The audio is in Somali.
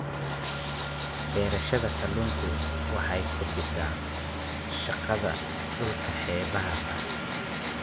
Beerashada kalluunku waxay kordhisaa shaqada dhulka xeebaha ah.